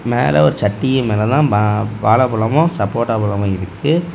மேல ஒரு சட்டிக்கு மேல தான் வாழைப்பழமும் சப்போட்டா பழமும் இருக்கு.